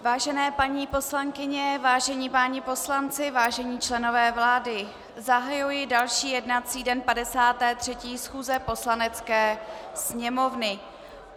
Vážené paní poslankyně, vážení páni poslanci, vážení členové vlády, zahajuji další jednací den 53. schůze Poslanecké sněmovny.